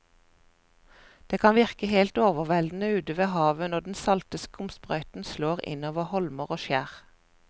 Det kan virke helt overveldende ute ved havet når den salte skumsprøyten slår innover holmer og skjær.